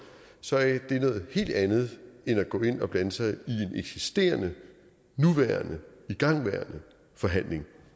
så er det noget helt andet end at gå ind og blande sig i en eksisterende nuværende igangværende forhandling